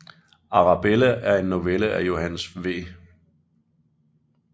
Arabella er en novelle af Johannes V